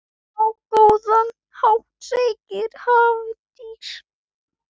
Á góðan hátt, segir Hafdís.